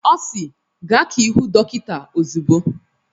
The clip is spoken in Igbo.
Ọ si "Gaa ka ị hụ dọkịta ozugbo""